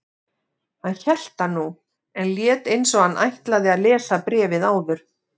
Hann hélt það nú, en lét eins og hann ætlaði að lesa bréfið áður.